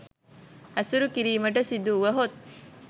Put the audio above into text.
ඇසුරු කිරීමට සිදුවුවහොත්